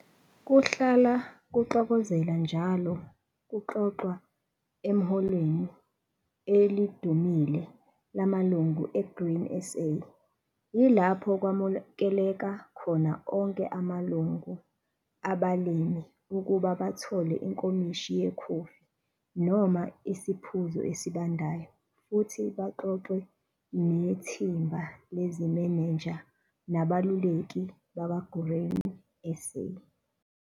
Kuhlala kuxokozela njalo kuxoxwa ehholweni elidumile laMalungu eGrain SA, ilapho kwamukeleka khona onke amalungu abalimi ukuba bathole inkomishi yekhofi noma isiphuzo esibandayo futhi baxoxe nethimba lezimenenja nabeluleki bakwa-Grain SA.